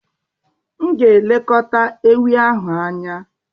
M ga-elekọta ewi ahụ anya.